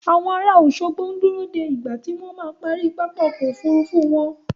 Àwọn ará Òṣogbo ń dúró de ìgbà tí wọ́n ma parí pápá ọkọ̀ Òfurufú wọn.